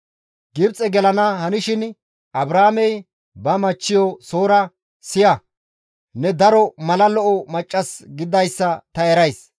Gibxe gelana hanishin Abraamey ba machchiyo Soora, «Siya! Ne daro mala lo7o maccas gididayssa ta erays.